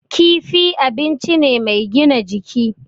Kifi abinci ne mai gina jiki.